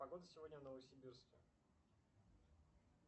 погода сегодня в новосибирске